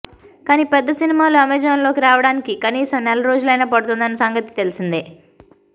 కానీ పెద్ద సినిమాలు అమేజాన్లోకి రావడానికి కనీసం నెల రోజులైనా పడుతోందన్న సంగతి తెలిసిందే